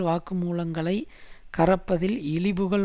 வாக்குமூலங்களை கறப்பதில் இழிபுகழ்